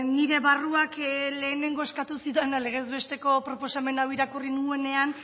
nire barruak lehenengo eskatu zidana legez besteko proposamen hau irakurri nuenean